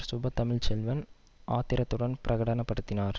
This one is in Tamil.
சுப தமிழ் செல்வன் ஆத்திரத்துடன் பிரகடன படுத்தினார்